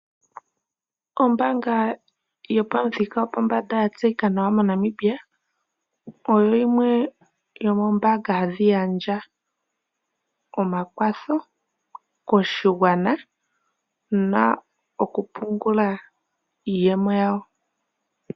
Ombaanga yopamuthika gopombanda ya tseyika nawa moNamibia oyo yimwe yo moombanga hadhi gandja omakwatho koshigwana mokupungula iiyemo yawo.